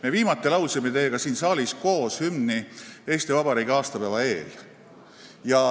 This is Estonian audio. Me viimati laulsime siin saalis koos hümni Eesti Vabariigi aastapäeva eel.